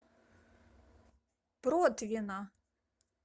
протвино